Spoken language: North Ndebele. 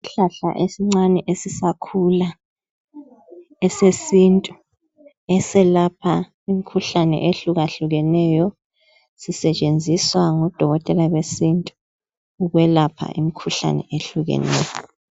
Isihlahla esincane esisakhula esesintu eselapha imkhuhlane ehlukahlukeneyo sisetshenziswa ngodokotela besintu ukwelapha imkhuhlane ehlukeneyo.